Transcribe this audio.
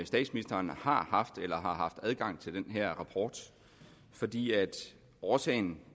statsministeren har haft eller har haft adgang til den her rapport fordi årsagen